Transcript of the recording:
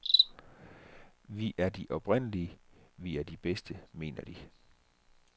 Vi er de oprindelige, vi er de bedste, mener de.